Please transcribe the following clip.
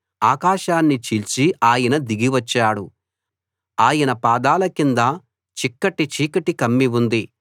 ఆకాశాన్ని చీల్చి ఆయన దిగి వచ్చాడు ఆయన పాదాల కింద చిక్కటి చీకటి కమ్మి ఉంది